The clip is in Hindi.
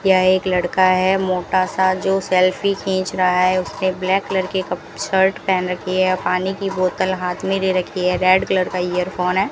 यह एक लड़का है मोटा सा जो सेल्फी खींच रहा है उसने ब्लैक कलर के कप शर्ट पहन रखी है पानी की बोतल हाथ में दे रखी है रेड कलर का एयरफोन है।